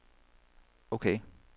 ok